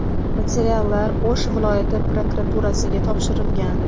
Materiallar O‘sh viloyati prokuraturasiga topshirilgan.